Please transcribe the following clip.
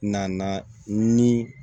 Nana ni